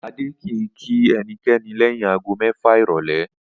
Adé kì í kí e̩niké̩ni lé̩yìn aago mé̩fà ìrò̩lé̩